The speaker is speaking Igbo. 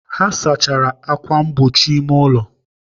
Ha saachara ákwà mgbochi ime ụlọ.